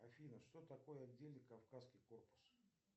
афина что такое отдельный кавказский корпус